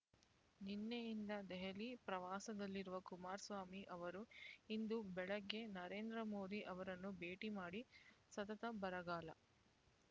ನಿನ್ನೆಯಿಂದ ದೆಹಲಿ ಪ್ರವಾಸದಲ್ಲಿರುವ ಕುಮಾರಸ್ವಾಮಿ ಅವರು ಇಂದು ಬೆಳಿಗ್ಗೆ ನರೇಂದ್ರ ಮೋದಿ ಅವರನ್ನು ಭೇಟಿಮಾಡಿ ಸತತ ಬರಗಾಲ